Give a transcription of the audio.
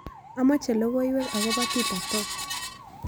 Amache logoiywek agobo peter too